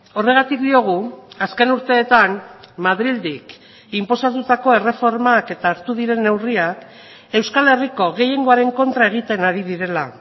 horregatik diogu azken urteetan madrildik inposatutako erreformak eta hartu diren neurriak euskal herriko gehiengoaren kontra egiten ari direla